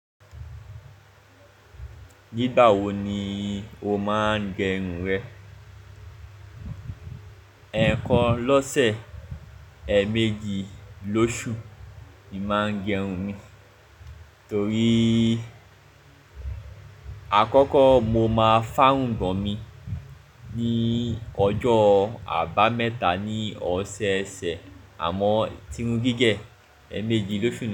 Nígbà wo ni o máa ń gẹrun rẹ? Ẹ̀ẹ̀kan lọ́sẹ̀, èmeji lóṣù, mo máa ń gẹrun mi. Torí, àkọ́kọ́ mo máa fárun bọ̀ mi ní ọjọ́ àbámẹ́ta ní ọ̀sẹ̀ ẹsẹ̀, àmọ́ tirun gígẹ̀ èmeji lóṣù.